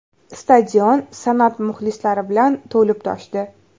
Stadion san’at muxlislari bilan to‘lib toshdi.